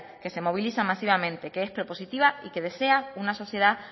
que se moviliza masivamente que es propositiva y que desea una sociedad